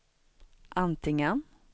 antingen